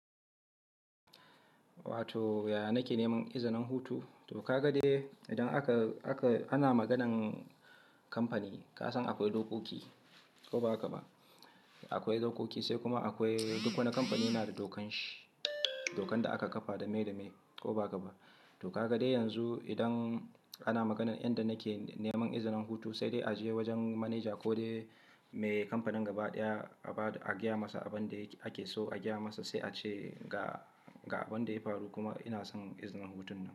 Wato yaya nake neman izinin hutu? To ka ga dai idan ana maganan kamfani ka san akwai dokoki ko ba haka ba. Akwai dokoki sai kuma akwai duk wani kamfani yana da dokan shi, dokan da aka kafa da miye da miye ko ba haka ba? To ka ga dai yanzu idan ana maganan inda nake neman izinin hutu sai dai a je wajen manaja ko dai me kamfanin gaba ɗaya a gaya masa abin da ake so a gaya masa sai a ce ga ga abin da ya faru kuma ina son izinin hutun.